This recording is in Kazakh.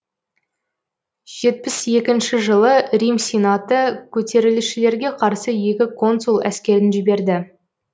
жетпіс екінші жылы рим сенаты көтерілісшілерге қарсы екі консул әскерін жіберді